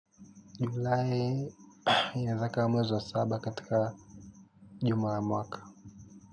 Julai inaeza ikawa mwezi saba katika juma la mwaka.